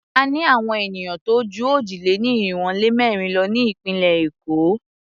A ní àwon ènìyàn tó jú òjì-lé-ní-irinwó-lé-mẹ́rin lọ ní ìpínlẹ̀ Èkó.